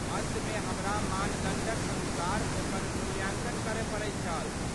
अन्तमे हमरा मानदण्डक अनुसार ओकर मूल्यांकन करय पड़ैत छल।